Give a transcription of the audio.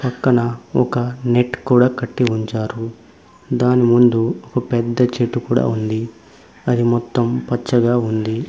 పక్కన ఒక నెట్ కూడా కట్టి ఉంచారు దాని ముందు ఒక పెద్ద చెట్టు కూడా ఉంది అది మొత్తం పచ్చగా ఉంది.